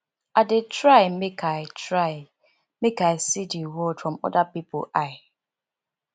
i dey try make i try make i see di world from oda pipo eye